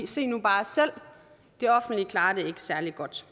se nu bare selv det offentlige klarer det ikke særlig godt